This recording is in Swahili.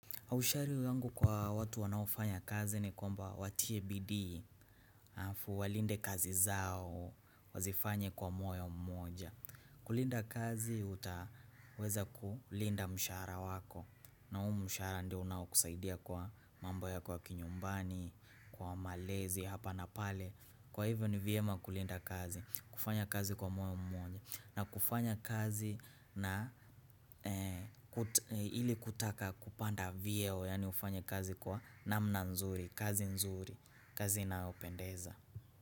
Aushari yangu kwa watu wanaofanya kazi ni kwamba watie bidii, alafu walinde kazi zao, wazifanye kwa moyo mmoja. Kulinda kazi, utaweza kulinda mshara wako. Na humu mshahara ndio unaokusaidia kwa mambo ya kwa kinyumbani, kwa malezi, hapa na pale. Kwa hivyo ni vyema kulinda kazi, kufanya kazi kwa moyo mmoja. Na kufanya kazi na ili kutaka kupanda vyeo yaani ufanye kazi kwa namna nzuri, kazi nzuri, kazi inayopendeza.